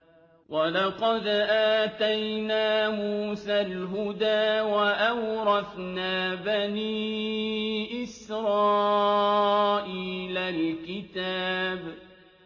وَلَقَدْ آتَيْنَا مُوسَى الْهُدَىٰ وَأَوْرَثْنَا بَنِي إِسْرَائِيلَ الْكِتَابَ